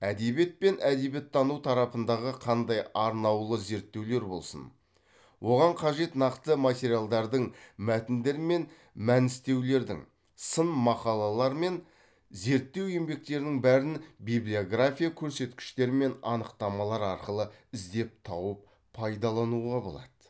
әдебиет пен әдебиеттану тарапындағы қандай арнаулы зерттеулер болсын оған қажет нақты материалдардың мәтіндер мен мәністеулердің сын мақалалар мен зерттеу еңбектерінің бәрін библиография көрсеткіштер мен анықтамалар арқылы іздеп тауып пайдалануға болады